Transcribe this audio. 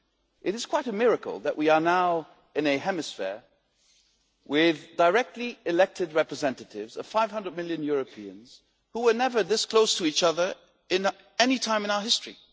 It is quite a miracle that we are now in a hemicycle with the directly elected representatives of 500 million Europeans who were never this close to each other at any time in our history.